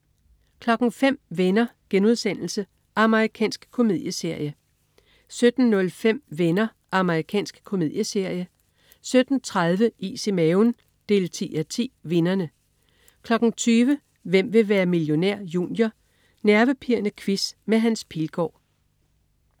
05.00 Venner.* Amerikansk komedieserie 17.05 Venner. Amerikansk komedieserie 17.30 Is i maven 10:10. Vinderne 20.00 Hvem vil være millionær? Junior. Nervepirrende quiz med Hans Pilgaard